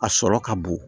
A sɔrɔ ka bon